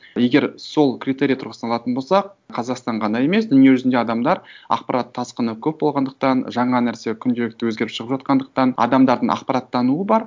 егер сол критерий тұрғыста алатын болсақ қазақстан ғана емес дүниежүзінде адамдар ақпарат тасқыны көп болғандықтан жаңа нәрсе күнделікті өзгеріп шығып жатқандықтан адамдардың ақпарат тануы бар